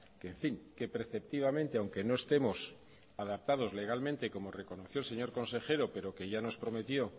que en fin que preceptivamente aunque no estemos adaptados legalmente como reconoció el señor consejero pero que ya nos prometió